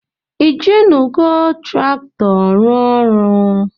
Ijinugo traktọ rụọ ọrụ.?